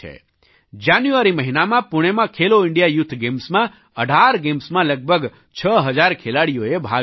જાન્યુઆરી મહિનામાં પૂણેમાં Khelo India youth ગેમ્સમાં 18 ગેમ્સમાં લગભગ 6000 ખેલાડીઓએ ભાગ લીધો